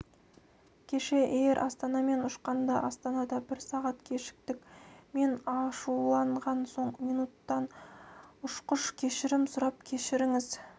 кеше эйр астанамен ұшқанда астанада бір сағат кешіктік мен ашуланған соң минутта ұшқыш кешірім сұрап кешіріңіз